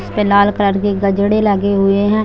इसपे लाल कलर की गजडे लगे हुए है।